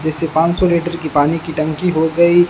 जैसे पानसौ लीटर की पानी की टंकी हो गई--